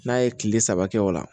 N'a ye kile saba kɛ o la